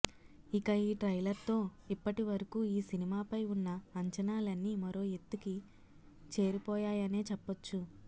ఇక ఈ ట్రైలర్తో ఇప్పటివరకూ ఈ సినిమాపై ఉన్న అంచనాలన్నీ మరో ఎత్తుకి చేరిపోయాయనే చెప్పొచ్చు